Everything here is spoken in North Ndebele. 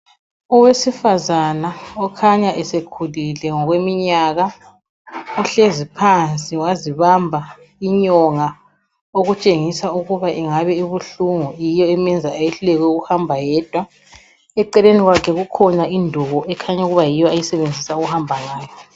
Owesifazana okhanya esekhulile ngokweminyaka uhlezi phansi wazibamba inyonga okutshengisa ukuba ingabe ibuhlungu yiyo emenza eyehluleke kuhamba yedwa. Eceleni kwakhe kukhona induku ekhanya ukuba yiyo ayisebenzisa ukube hamba ngayo.